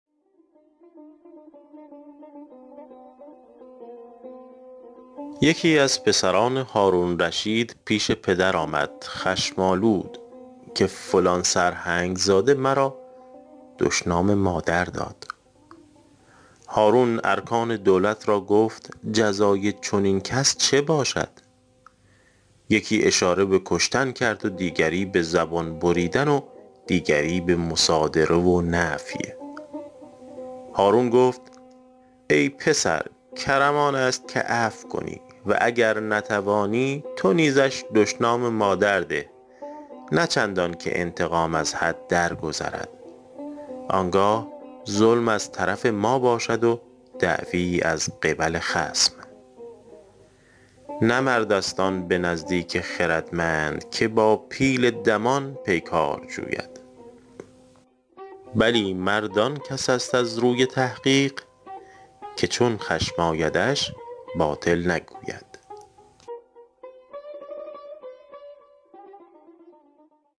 یکی از پسران هارون الرشید پیش پدر آمد خشم آلود که فلان سرهنگ زاده مرا دشنام مادر داد هارون ارکان دولت را گفت جزای چنین کس چه باشد یکی اشاره به کشتن کرد و دیگری به زبان بریدن و دیگری به مصادره و نفی هارون گفت ای پسر کرم آن است که عفو کنی و گر نتوانی تو نیزش دشنام مادر ده نه چندان که انتقام از حد درگذرد آن گاه ظلم از طرف ما باشد و دعوی از قبل خصم نه مرد است آن به نزدیک خردمند که با پیل دمان پیکار جوید بلی مرد آن کس است از روی تحقیق که چون خشم آیدش باطل نگوید